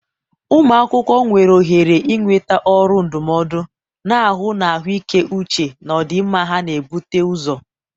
ụmụ akwụkwọ nwere ohere ịnweta ọrụ ndụmọdụ, na-ahụ na ahụike uche na ọdịmma ha na-ebute ụzọ.